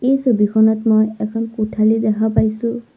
এই ছবিখনত মই এখন কোঠালি দেখা পাইছোঁ।